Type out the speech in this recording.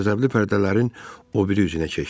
Qəzəbli pərdələrin o biri üzünə keçdi.